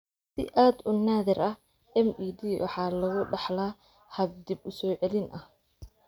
Si aad u naadir ah, MED waxa lagu dhaxlaa hab dib u soo celin ah.